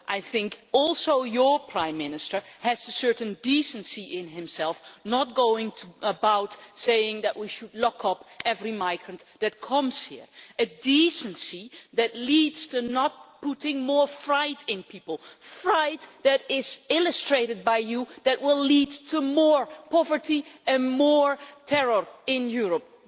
I think also your Prime Minister has a certain decency in himself, not going about saying that we should lock up every migrant that comes here a decency that leads to not putting more fear in people, fear that is illustrated by you, that will lead to more poverty and more terror in Europe.